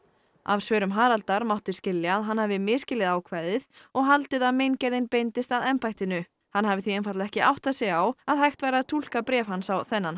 af svörum Haraldar mátti skilja að hann hafi misskilið ákvæðið og haldið að meingerðin beindist að embættinu hann hafi því einfaldlega ekki áttað sig á að hægt væri að túlka bréf hans á þennan